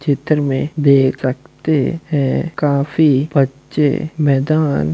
चित्र में देख सकते हैं काफी बच्चे मैदान --